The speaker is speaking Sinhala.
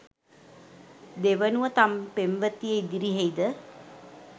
දෙවනුව තම පෙම්වතිය ඉදිරියෙහිද